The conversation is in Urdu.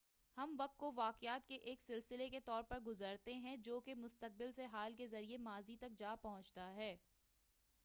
ہم وقت کو واقعات کے ایک سلسلے کے طور پر گُزارتے ہیں جو کہ مستقبل سے حال کے ذریعے ماضی تک جاپہنچتا ہے